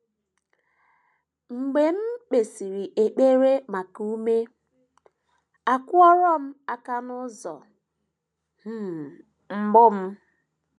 Mgbe um m kpesịrị ekpere maka ume, akụrụ m aka n’ọnụ ụzọ um mbụ m.